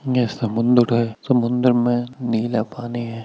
यह समुंदर है समुंदर में नीला पानी है।